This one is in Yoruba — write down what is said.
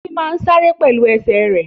Títí má sáré pẹ̀lú ẹsẹ̀ rẹ̀